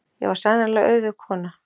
Ég var sannarlega auðug kona.